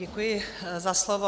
Děkuji za slovo.